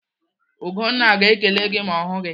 Ugonna ga-ekele gị ma ọ hụ gị.